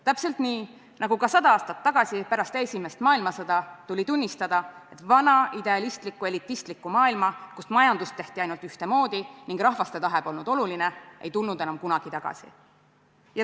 Täpselt nii, nagu sada aastat tagasi pärast esimest maailmasõda tuli tunnistada, et vana idealistlikku, elitaristlikku maailma, kus majandust tehti ainult ühtemoodi ning rahvaste tahe polnud oluline, ei tule enam kunagi tagasi.